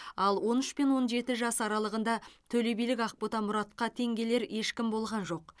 ал он үш пен он жеті жас аралығында төлебилік ақбота мұратқа тең келер ешкім болған жоқ